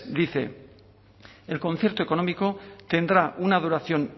dice el concierto económico tendrá una duración